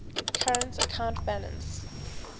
current account balance